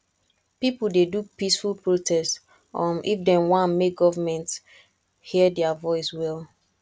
pipo dey do peaceful protest um if dem wan make government hear dia voice well